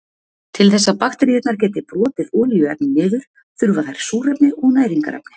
til þess að bakteríurnar geti brotið olíuefni niður þurfa þær súrefni og næringarefni